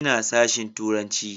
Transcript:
Ina sashen turanci.